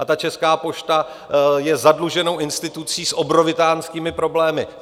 A ta Česká pošta je zadluženou institucí s obrovitánskými problémy.